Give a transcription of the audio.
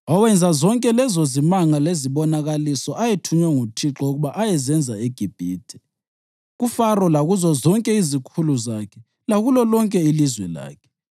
owenza zonke lezozimanga lezibonakaliso ayethunywe nguThixo ukuba ayezenza eGibhithe, kuFaro lakuzo zonke izikhulu zakhe lakulo lonke ilizwe lakhe.